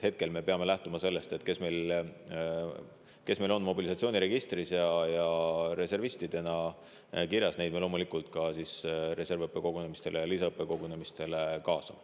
Hetkel me peame lähtuma sellest, et neid, kes on meil mobilisatsiooniregistris ja reservistidena kirjas, me loomulikult ka reservõppekogunemistele ja lisaõppekogunemistele kaasame.